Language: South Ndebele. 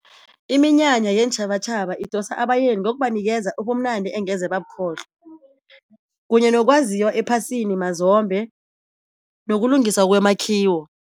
Iminyanya yeentjhabatjhaba idosa abayeni ngokubanikeza ubumnandi engeze babukhohlwa, kunye nokwaziwa ephasini mazombe, nokulungiswa kwemakhiwo.